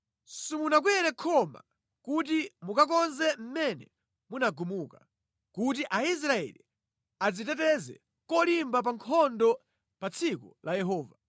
Simunakwere khoma kuti mukakonze mʼmene munagumuka, kuti Aisraeli adziteteze kolimba pa nkhondo pa tsiku la Yehova.